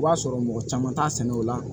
I b'a sɔrɔ mɔgɔ caman t'a sɛnɛ o la